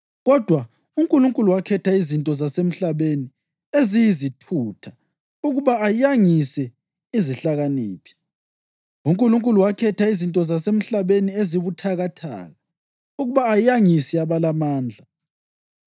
Kodwa uNkulunkulu wakhetha izinto zasemhlabeni eziyizithutha ukuba ayangise izihlakaniphi; uNkulunkulu wakhetha izinto zasemhlabeni ezibuthakathaka ukuba ayangise abalamandla.